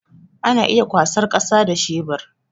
Ana iya kwasar kasa da shebur